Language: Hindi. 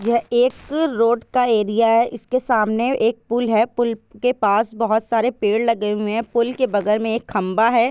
यह एक रोड का एरिया है। इसके सामने एक पुल है। पुल के पास बहुत सारे पेड़ लगे हुए है। पुल के बगल मे एक खंबा है ।